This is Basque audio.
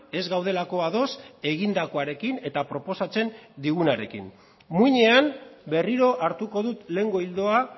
ez gaudelako ados egindakoarekin eta proposatzen digunarekin muinean berriro hartuko dut lehengo ildoa